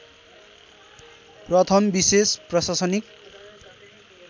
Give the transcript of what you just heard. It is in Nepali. प्रथम विशेष प्रशासनिक